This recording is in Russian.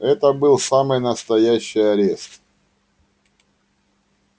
это был самый настоящий арест